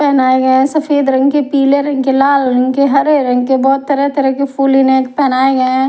पेनाये गया सफेद रंग के पीले रंग के लाल रंग के हरे रंग के बोहोत तरह तरह के फुल इन्हें पहनाये गए है।